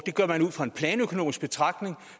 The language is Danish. gør man ud fra en planøkonomisk betragtning